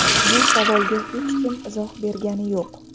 Bu savolga hech kim izoh bergani yo‘q.